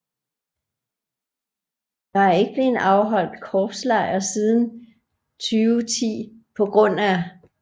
Der er ikke blevet afholdt korpslejr siden 2010 pga